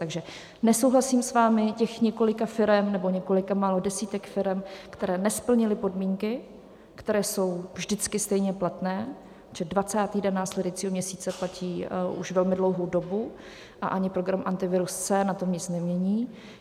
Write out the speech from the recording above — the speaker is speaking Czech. Takže nesouhlasím s vámi, těch několika firem, nebo několika málo desítek firem, které nesplnily podmínky, které jsou vždycky stejně platné, že 20. den následujícího měsíce, platí už velmi dlouhou dobu a ani program Antivirus C na tom nic nemění.